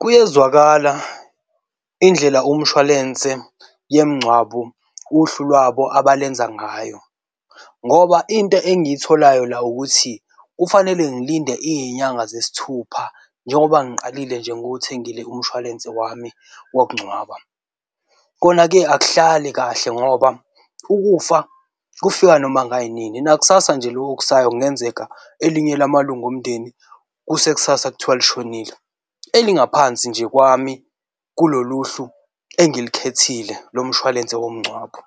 Kuyezwakala indlela umshwalense yemngcwabo uhlu lwabo abalenza ngayo ngoba into engiyitholayo la, ukuthi kufanele ngilinde izinyanga zesithupha njengoba ngiqalile nje ngiwuthengile umshwalense wami wokungcwaba. Kona-ke akuhlali kahle ngoba ukufa kufika noma ngayinini. Nakusasa nje loku okusayo kungenzeka elinye lamalunga omndeni kuse kusasa kuthiwa lishonile, elingaphansi nje kwami kulolu hlu engilikhethile lo mshwalense womngcwabo.